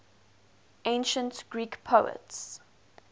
ancient greek poets